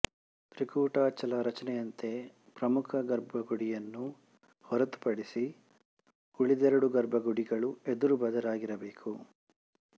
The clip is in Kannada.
ತ್ರಿಕೂಟಾಚಲ ರಚನೆಯಂತೆ ಪ್ರಮುಖ ಗರ್ಭಗುಡಿಯನ್ನು ಹೊರತುಪಡಿಸಿ ಉಳಿದೆರಡು ಗರ್ಭಗುಡಿಗಳು ಎದುರುಬದುರಾಗಿರಬೇಕು